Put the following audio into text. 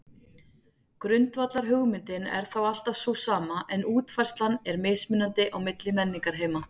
Grundvallarhugmyndin er þá alltaf sú sama en útfærslan er mismunandi á milli menningarheima.